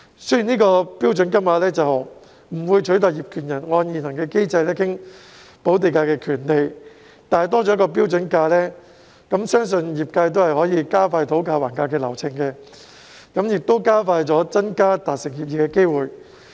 雖然有關的"標準金額"不會取代業權人按現行機制討論補地價的權利，但有了"標準金額"，相信可以加快業界討價還價的流程，同時增加達成協議的機會。